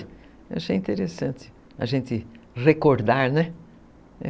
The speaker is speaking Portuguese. Eu achei interessante a gente recordar, né?